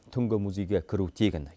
түнгі музейге кіру тегін